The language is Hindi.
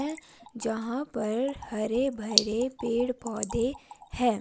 है यहां पर हरे भरे पेड़ पौधे है।